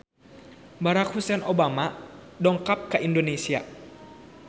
Barack Hussein Obama dongkap ka Indonesia